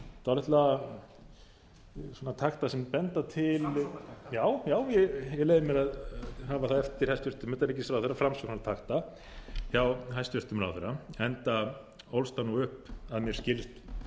dálitla svona takta sem benda til já ég leyfi á að hafa það eftir hæstvirtum utanríkisráðherra framsóknartakta hjá hæstvirtum ráðherra enda ólst hann upp að mér skilst